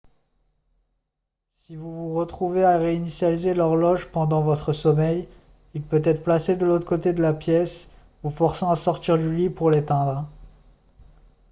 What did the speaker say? si vous vous retrouvez à réinitialiser l'horloge pendant votre sommeil il peut être placé de l'autre côté de la pièce vous forçant à sortir du lit pour l'éteindre